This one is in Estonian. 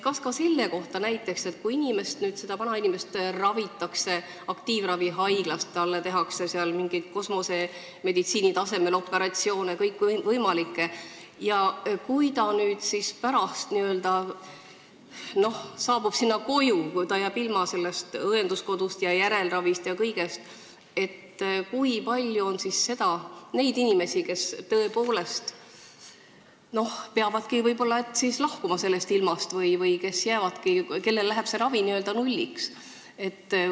Kas ka selle kohta näiteks, et kui vanainimesi ravitakse aktiivravihaiglas, kus neile tehakse mingeid kosmosemeditsiini tasemel operatsioone, aga kui nad pärast lähevad koju, olles jäänud ilma õenduskodukohast, järelravist ja kõigest, siis kui palju on neid inimesi, kes tõepoolest peavadki võib-olla sellest ilmast lahkuma või kelle ravitulemus muutub n-ö nulliks?